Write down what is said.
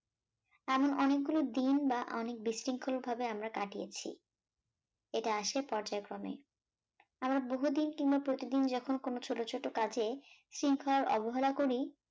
এমন অনেকগুলো দিন বা অনেক বিশৃঙ্খল ভাবে আমরা কাটিয়েছি, এটা আসে পর্যায়ক্রমে আমরা বহুদিন কিম্বা প্রতিদিন যখন কোন ছোট ছোট কাজে শৃঙ্খলার অবহেলা করি